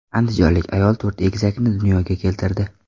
Andijonlik ayol to‘rt egizakni dunyoga keltirdi.